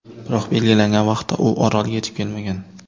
Biroq belgilangan vaqtda u orolga yetib kelmagan.